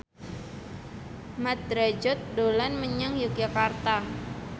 Mat Drajat dolan menyang Yogyakarta